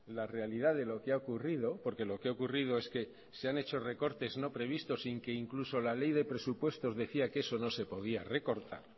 la realidad de lo que ha ocurrido porque lo que ha ocurrido es que se han hecho recortes no previstos y que incluso la ley de presupuestos decía que eso no se podía recortar